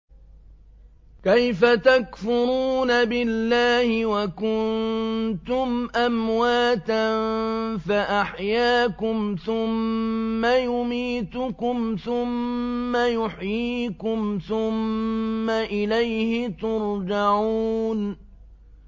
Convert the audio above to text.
كَيْفَ تَكْفُرُونَ بِاللَّهِ وَكُنتُمْ أَمْوَاتًا فَأَحْيَاكُمْ ۖ ثُمَّ يُمِيتُكُمْ ثُمَّ يُحْيِيكُمْ ثُمَّ إِلَيْهِ تُرْجَعُونَ